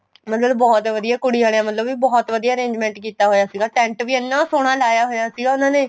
ਬੰਦੇ ਨੂੰ ਬਹੁਤ ਵਧੀਆ ਕੁੜੀ ਆਲਿਆ ਵਲੋਂ ਵੀ ਬਹੁਤ ਵਧੀਆ arrangement ਕੀਤਾ ਹੋਇਆ ਸੀਗਾ tent ਵੀ ਇਹਨਾ ਸੋਹਣਾ ਲਾਇਆ ਹੋਇਆ ਸੀ ਉਹਨਾ ਨੇ